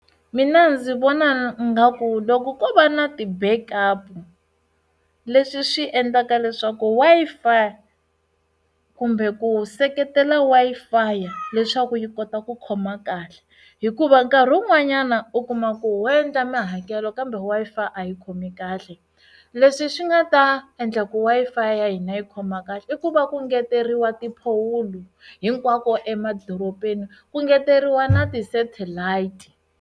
Mina ndzi vona nga ku loko ko va na ti backup leswi swi endlaka leswaku Wi-Fi kumbe ku seketela Wi-Fi leswaku yi kota ku khoma kahle hikuva nkarhi wun'wanyana u kuma ku u endla mihakelo kambe Wi-Fi a yi khomi kahle leswi swi nga ta endla ku Wi-Fi ya hina yi khoma kahle i ku va ku engeteriwa tiphowulo hinkwako emadorobeni ku engeteriwa na ti satellite.